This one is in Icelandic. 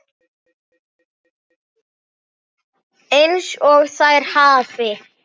EINS OG ÞÆR HAFI